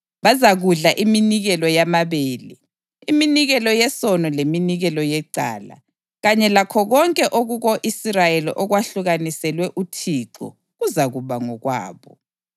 Bazakudla iminikelo yamabele, iminikelo yesono leminikelo yecala; kanye lakho konke okuko-Israyeli okwahlukaniselwe uThixo kuzakuba ngokwabo.